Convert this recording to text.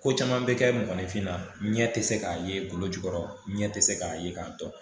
Ko caman bɛ kɛ mɔgɔnifinna ɲɛ tɛ se k'a ye kolo jukɔrɔ ɲɛ tɛ se k'a ye k'a dɔn